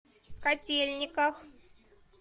котельниках